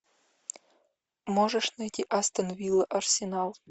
можешь найти астон вилла арсенал